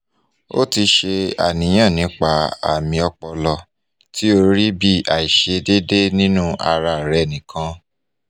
o ti se aniyan nipa ami opolo ti o ri bi aisedede ninu ara re nikan